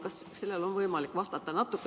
Kas sellele on võimalik vastata?